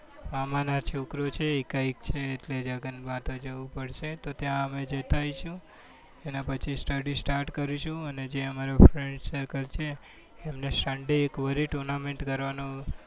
મામા નો છોકરો છે એકાએક છે એટલે લગ્નમાં તો જવું પડશે. તો ત્યાં અમે જતા આઇશું એના પછી study start કરીશું અને અને જે અમારું friend circle છે એમને sunday એકવાર tournament કરવાનું